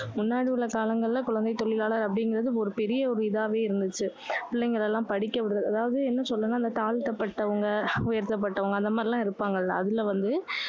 முன்னாடி உள்ள காலங்களில குழந்தை தொழிலாளர் அப்படிங்குறது ஒரு பெரிய ஒரு இதாவே இருந்துச்சு. பிள்ளைங்களை எல்லாம் படிக்க விடுறது அதாவது என்ன சொல்லன்னா, இந்த தாழ்த்தப்பட்டவங்க, உயர்த்தப்பட்டவங்க, அந்த மாதிரி எல்லாம் இருப்பாங்கல்ல. அதுல வந்து,